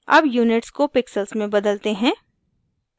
अब units को pixels में बदलते हैं